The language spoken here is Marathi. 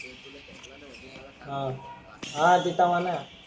ते तुला ठेसलाणा म्हणे अं मला सांग म्हणे हा तिथ म्हणे